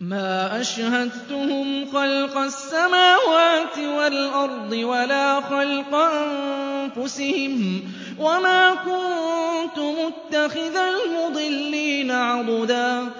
مَّا أَشْهَدتُّهُمْ خَلْقَ السَّمَاوَاتِ وَالْأَرْضِ وَلَا خَلْقَ أَنفُسِهِمْ وَمَا كُنتُ مُتَّخِذَ الْمُضِلِّينَ عَضُدًا